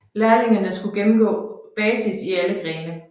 Lærlingene skulle gennemgå basis i alle grene